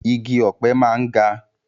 Igi ọ̀pẹ máa ń ga